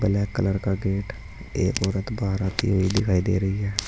Black colour का gate एक औरत बाहर आती हुई दिखाई दे रही है।